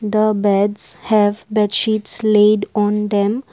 The beds have bed sheets laid on them.